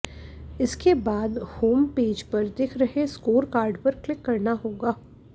इसक बाद होमपेज पर दिख रहे स्कोर कार्ड पर क्लिक करना होगा